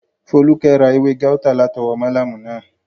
Fólúkẹ́ ra ewé gáútà látọwọ́ málámù náà